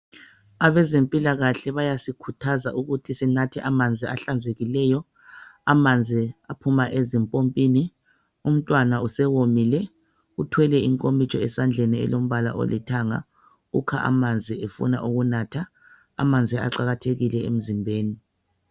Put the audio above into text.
Abezempilakahle bayasikhuthaza ukuthi sinathe amanzi ahlanzekileyo, amanzi aphuma ezimpompini. Untwana usewomile uthwele inkomitsho esandleni elombala olithanga ukha amanzi efuna ukunatha. Amanzi aqakathekile emzimbeni.